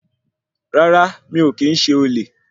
Rárá, mi o kìí ṣe olè.